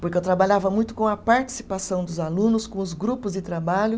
porque eu trabalhava muito com a participação dos alunos, com os grupos de trabalho.